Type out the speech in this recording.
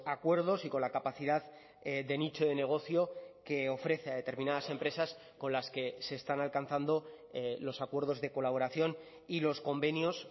acuerdos y con la capacidad de nicho de negocio que ofrece a determinadas empresas con las que se están alcanzando los acuerdos de colaboración y los convenios